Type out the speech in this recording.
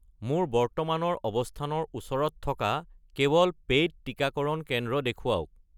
মোৰ বৰ্তমানৰ অৱস্থানৰ ওচৰত থকা কেৱল পে'ইড টিকাকৰণ কেন্দ্ৰ দেখুৱাওক